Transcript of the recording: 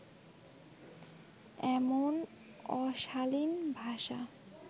এমন অশালিন ভাষা